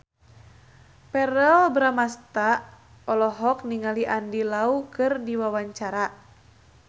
Verrell Bramastra olohok ningali Andy Lau keur diwawancara